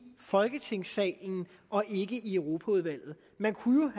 folketingssalen og ikke i europaudvalget man kunne jo